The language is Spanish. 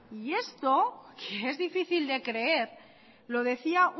y esto que es difícil de creer lo decía